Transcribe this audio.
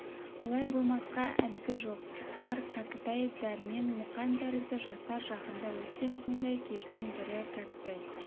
олай болмасқа әдді жоқ олар кәкітай дәрмен мұқан тәрізді жастар жақында өткен сондай кештің бірі кәкітай